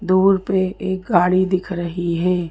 दूर पे एक गाड़ी दिख रही है।